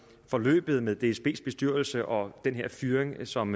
forløbet med dsbs bestyrelse og den her fyring som